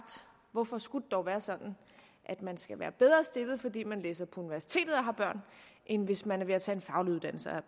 hvorfor skulle det dog være sådan at man skal være bedre stillet fordi man læser på universitetet og har børn end hvis man er ved at tage en faglig uddannelse og